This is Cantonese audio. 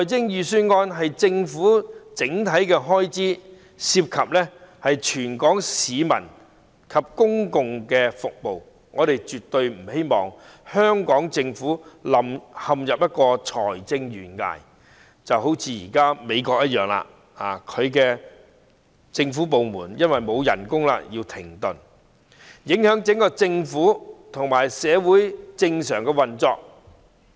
預算案是政府整體的開支，涉及全港市民及公共服務，我們絕不希望香港政府陷入財政懸崖——就如現時的美國，其政府部門因為不獲撥款而要停止運作——影響整個政府和社會的正常運作。